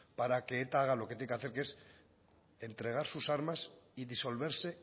para que eta haga lo que tiene que hacer que es entregar sus armas y disolverse